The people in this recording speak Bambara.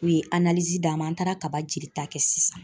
U ye d'an ma an taara kaba jeli ta kɛ sisan